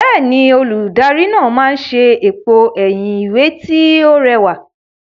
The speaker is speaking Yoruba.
Bẹ́ẹ̀ni, olùdarí ọnà máa ṣe èpo ẹ̀yìn ìwé tí ó rẹwà.